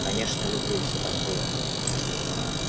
конечно люблю и все такое